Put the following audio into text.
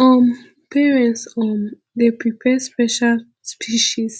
um parents um dey prepare special speeches